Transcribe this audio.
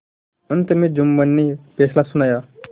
अंत में जुम्मन ने फैसला सुनाया